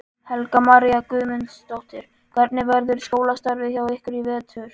Helga María Guðmundsdóttir: Hvernig verður skólastarfið hjá ykkur í vetur?